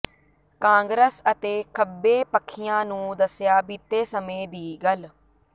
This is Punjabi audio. ਕਾਂਗਰਸ ਅਤੇ ਖੱਬੇ ਪੱਖੀਆਂ ਨੂੰ ਦੱਸਿਆ ਬੀਤੇ ਸਮੇਂ ਦੀ ਗੱਲ